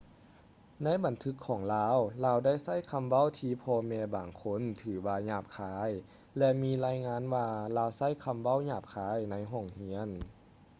ໃນບັນທຶກຂອງລາວ ລາວໄດ້ໃຊ້ຄຳເວົ້າທີ່ພໍ່ແມ່ບາງຄົນຖືວ່າຫຍາບຄາຍ ແລະ ມີລາຍງານວ່າລາວໃຊ້ຄຳເວົ້າຫຍາບຄາຍໃນຫ້ອງຮຽນ